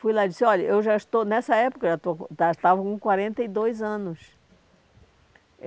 Fui lá e disse, olha, eu já estou nessa época, já estou com já estava com quarenta e dois anos.